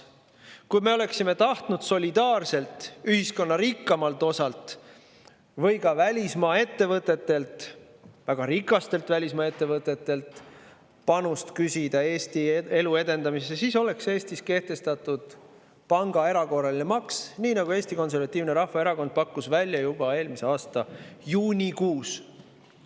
Kui me oleksime tahtnud küsida ühiskonna rikkamalt osalt või ka välismaa ettevõtetelt, väga rikastelt välismaa ettevõtetelt, solidaarset panust Eesti elu edendamisse, siis oleks Eestis kehtestatud erakorraline pangamaks, nagu Eesti Konservatiivne Rahvaerakond pakkus välja juba eelmise aasta juunikuus.